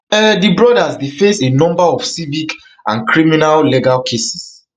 um di brothers dey face a number of civic and criminal legal cases